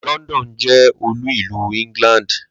London jé̩ olú-ìlú England